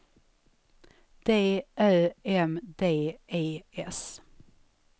D Ö M D E S